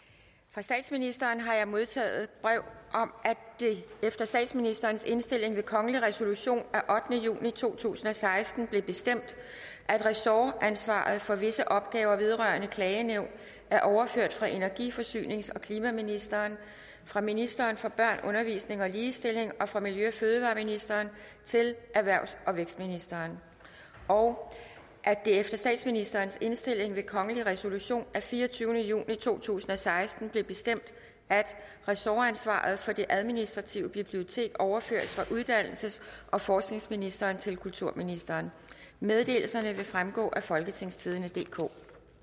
fra statsministeren har jeg modtaget et brev om at det efter statsministerens indstilling ved kongelig resolution af ottende juni to tusind og seksten blev bestemt at ressortansvaret for visse opgaver vedrørende klagenævn er overført fra energi forsynings og klimaministeren fra ministeren for børn undervisning og ligestilling og fra miljø og fødevareministeren til erhvervs og vækstministeren og at det efter statsministerens indstilling ved kongelig resolution af fireogtyvende juni to tusind og seksten blev bestemt at ressortansvaret for det administrative bibliotek overføres fra uddannelses og forskningsministeren til kulturministeren meddelelserne vil fremgå af folketingstidende DK